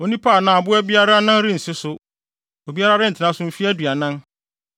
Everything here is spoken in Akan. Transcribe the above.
Onipa anaa aboa biara nan rensi so, obiara rentena so mfe aduanan.